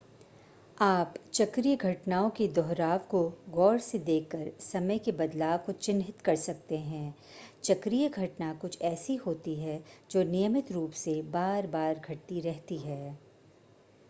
आप चक्रीय घटनाओं के दोहराव को ग़ौर से देखकर समय के बदलाव को चिन्हित कर सकते हैं चक्रीय घटना कुछ ऐसी होती है जो नियमित रूप से बार-बार घटती रहती है